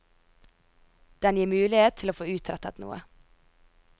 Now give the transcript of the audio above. Den gir mulighet til å få utrettet noe.